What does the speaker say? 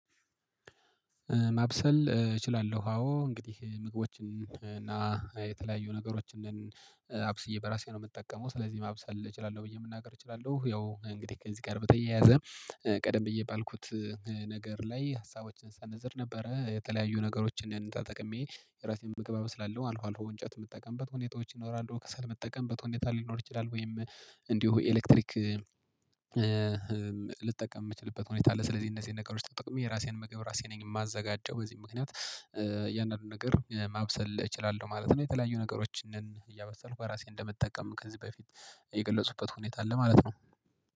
ማብሰል እችላለሁ አዎ እንግዲህ ምግቦችን እና የተለያዩ ነገሮችን አብስዬ በራሴ ነው የምጠቀመው ስለዚህ ማብሰል እችላለሁ ብዬ መናገር እችላለሁ። ያው እንግዲህ ከዚህ ጋር በተያያዘ ቀደም ብዬ ባልኩት። ነገር ላይ ሀሳቦችን ስሰነዝር ነበረ የተለያዩ ነገሮችን እንደ ጠቅሜ የራሴን ምግብ አበስላለው አልፎ አልፎ እንጨት የምጠቀምበት ሁኔታዎች ይኖራሉ ከሰል የምጠቀምበት ሁኔታ ሊኖር ይችላል ወይም እንዲሁ ኤሌክትሪክ ልጠቀም የምትችልበት ሁኔታ አለ። ስለዚህ እነዚህን ነገሮች ተጠቅሜ የራሴን ምግብ ራሴ ነኝ የማዘጋጀው በዚህ ምክንያት እያንዳንዱን ነገር ማብሰል እችላለሁ ማለት ነው። የተለያዩ ነገሮች ነን እያበሰልኩ በራሴ እንደምጠቀም ከዚህ በፊት የገለጹበት ሁኔታ አለ ማለት ነው።